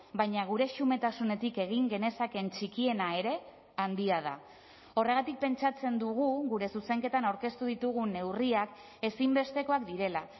baina gure xumetasunetik egin genezakeen txikiena ere handia da horregatik pentsatzen dugu gure zuzenketan aurkeztu ditugun neurriak ezinbestekoak direla